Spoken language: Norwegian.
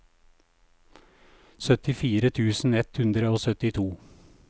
syttifire tusen ett hundre og syttito